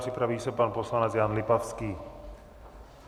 Připraví se pan poslanec Jan Lipavský.